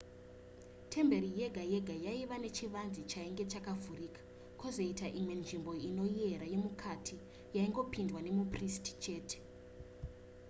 temberi yega yega yaiva nechivanze chainge chakavhurika kwozoita imwe nzvimbo inoyera yemukati yaingopindwa nemupristi chete